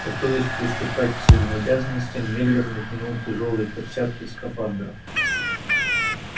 готовясь приступать к своим обязанностям мюллер натянул тяжёлые перчатки скафандра